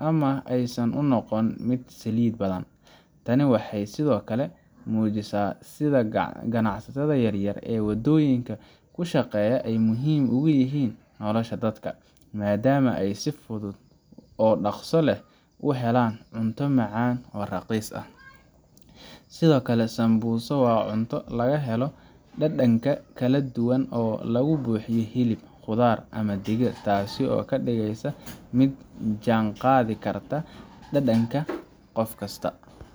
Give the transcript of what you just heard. ama aysan u noqon mid saliid badan. Tani waxay sidoo kale muujinaysaa sida ganacsatada yaryar ee waddooyinka ku shaqeeya ay muhiim ugu yihiin nolosha dadka, maadaama ay si fudud oo dhaqso leh u helaan cunto macaan oo raqiis ah. Sidoo kale, sambusa waa cunto laga helo dhadhanka kala duwan oo laga buuxiyo hilib, khudaar, ama digir, taasoo ka dhigaysa mid la jaanqaadi karta dhadhanka qof kasta.